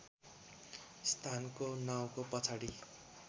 स्थानको नाउँको पछाडि